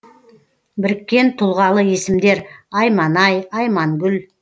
біріккен тұлғалы есімдер айманай аймангүл